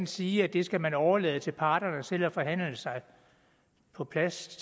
sige at det skal man overlade til parterne selv at forhandle på plads